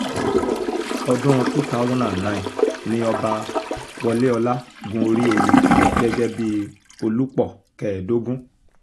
ọdún two thousand and nine ni ọba woléọlá gun orí oyè gẹ́gẹ́ bíi olùpọ̀ kẹẹ̀ẹ́dógún